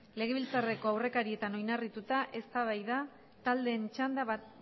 legebiltzarreko aurrekarietan oinarrituta eztabaida taldeen txanda